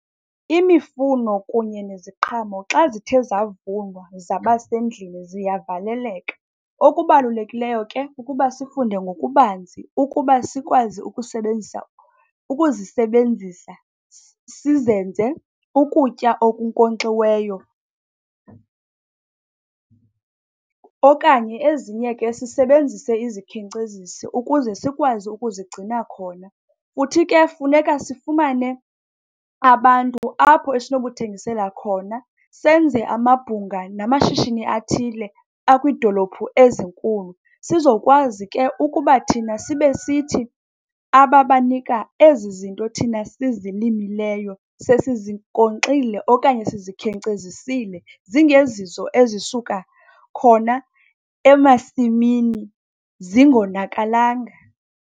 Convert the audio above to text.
Imifuno kunye neziqhamo xa zithe zavunwa zabasendlini ziyavaleleka. Okubalulekileyo ke kukuba sifunde ngokubanzi ukuba sikwazi ukusebenzisa ukuzisebenzisa sizenze ukutya okunkonxiweyo, okanye ezinye ke sisebenzise izikhenkcezisi ukuze sikwazi ukuzigcina khona. Futhi ke funeka sifumane abantu apho esinokuthengisela khona, senze amabhunga namashishini athile akwiidolophu ezinkulu sizokwazi ke ukuba thina sibe sithi ababanika ezi zinto thina sizilimileyo sesizinkonxile okanye sizikhenkcezisile, zingezizo ezisuka khona emasimini, zingonakalanga.